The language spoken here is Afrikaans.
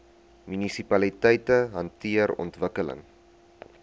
munisipaliteite hanteer ontwikkeling